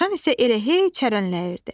Dovşan isə elə hey çərənləyirdi.